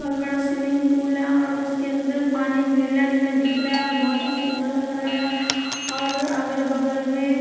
बहुत बड़ा swimming pool है और उसके अंदर पानी नीला नीला दिख रहा है बहुत ही सुंदर लग रहा है और अगल बगल में--